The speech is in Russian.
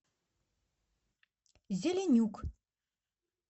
зеленюк